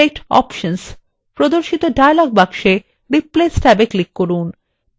প্রদর্শিত dialog box replace ট্যাবে click করুন